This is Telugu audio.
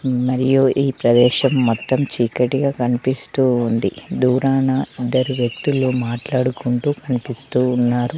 మరియు ఈ ప్రదేశం మొత్తం చీకటిగా కనిపిస్తూ ఉంది దూరాన ఇద్దరు వ్యక్తులు మాట్లాడుకుంటూ కనిపిస్తూ ఉన్నారు.